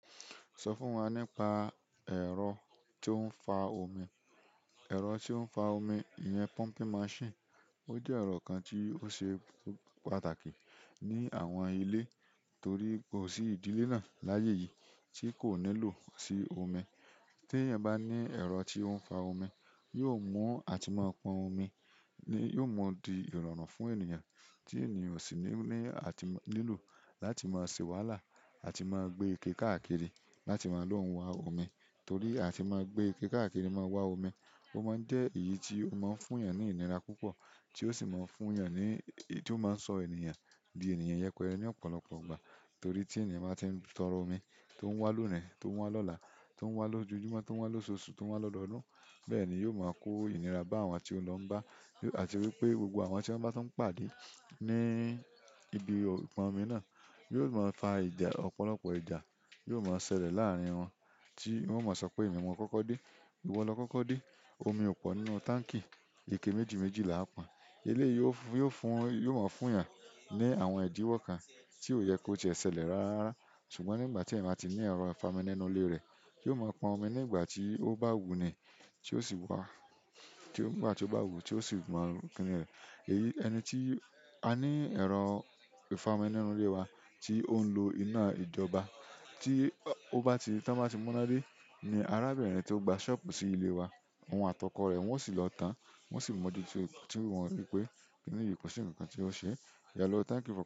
Sọ fún wa nípa ẹ̀rọ tó ń fà omi. Ẹ̀rọ tó ń fa omi iyẹn pumping machine. Ó jẹ́ ẹ̀rọ kan tí ó ṣe pàtàkì ní àwọn ìle torí kò sí ìdílé náà láyé yìí tí kò nílò sí omi. Tí eyan bá ní ẹ̀rọ tí ó ń fa omi, yóò mú a tì máa pọn omi, yóò máa di ìrọ̀rùn fún ènìyàn tí ènìyàn o sì ní ní àti nílò láti máa ṣè wáhalà àti máa gbé ike káàkiri láti máa lòun wá omi torí àti máa gbé ike káàkiri máa wá omi. Ó máa ń jẹ́ èyí tí ó máa ń fún èèyàn ní ìnira púpọ̀ tí ó sì máa ń fún èèyàn ní tí ó máa ń sọ ènìyàn di ènìyàn yẹpẹrẹ ní ọ̀pọ̀lọpọ̀ ìgbà torí tí ènìyàn bá ti ń tọrọ omi tó ń wá lónìí, tó ń wá lọ́la, tó ń wá lójoojúmọ́, tó ń wá lóṣooṣù, tó ń wá lọ́dọọdún. Bẹ́ẹ̀ ni yóò máa kó ìnira bá àwọn tí ó lọ n bá. Àti wípé gbogbo àwọn tí wọ́n bá tí ń pàdé ní ibi ìpọn omi náà yóò máa fa ìjà. Ọ̀pọ̀lọpọ̀ ìjà yóò máa ṣẹlẹ̀ láàrín wọn tí wọ́n ó máa sọ pé "Èmi mo kọ́kọ́ dé", "Ìwọ lọ kọ́kọ́ dé", "Omi ò pọ̀ nínú táǹkì", "Ike méjì méjì làá pọn". Eléyìí yóò fún, yóò máa fún èèyàn ní àwọn ìdíwọ̀ kan tí ò yẹ kó ti e ṣe ṣẹlẹ̀ rárá. Ṣùgbọ́n nígbà tí ènìyàn máa ti ní ẹ̀rọ ìfami nínú ilé rẹ̀, yóò máa pọn omi nígbà tí ó bá wù u ni tí ó sì wá, tí ó nígbà tí ó bá wù ú tí ó sì máa lu kiní rẹ̀. Èyí, ẹni tí a ní ẹ̀rọ ìfami nínú ilé wa tí ó ń lo iná ìjọba tí ó bá ti, tí wọ́n bá ti mú iná dé ni arábìnrin tí ó gba ṣọ́ọ̀bù sí ilé wa, òun àti ọkọ rẹ̀ wọ́n sì lọ tán. Wọn sì mọ̀ dí tí wọ́n rí pé kini yìí kò sí nǹkan tí ó ṣe. Hello, thank you for calling.